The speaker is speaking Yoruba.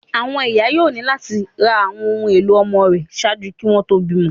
Àwọn iya yoo ni lati ra awọn ohun elo ọmọ rẹ ṣaaju kí ó tó bímọ